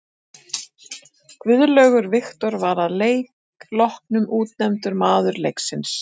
Guðlaugur Victor var að leik loknum útnefndur maður leiksins.